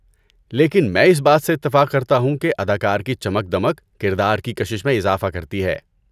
لیکن میں اس بات سے اتفاق کرتا ہوں کہ اداکار کی چمک دمک کردار کی کشش میں اضافہ کرتی ہے۔